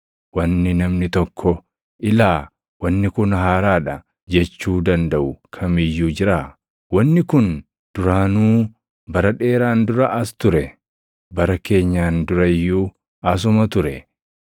Wanni namni tokko, “Ilaa! Wanni kun haaraa dha” jechuu dandaʼu kam iyyuu jiraa? Wanni kun duraanuu bara dheeraan dura as ture; bara keenyaan dura iyyuu asuma ture.